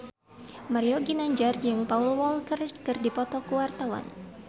Mario Ginanjar jeung Paul Walker keur dipoto ku wartawan